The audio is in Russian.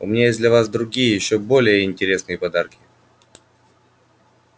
у меня есть для вас другие ещё более интересные подарки